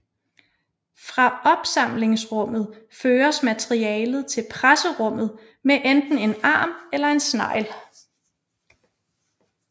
Fra opsamlingsrummet føres materialet til presserummet med enten en arm eller en snegl